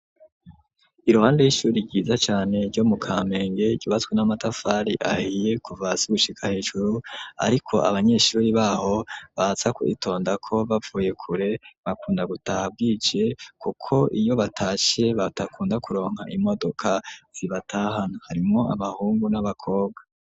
Iruhande y'ishuri ryiza cane ryo mu kamenge, ryubatswe n'amatafari ahiye kuva hasi gushika hejuru, ariko abanyeshuri b'aho baza kuritondako bavuye kure, bakunda gutaha bwije kuko iyo batashe badakunda kuronka imodoka zibatahana, harimwo abahungu n'abakobwa.